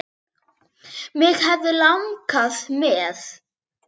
Mig hefði langað með.